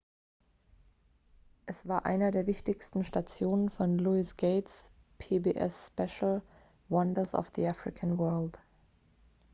es war einer der wichtigsten stationen von louis gates pbs-spezial wonders of the african world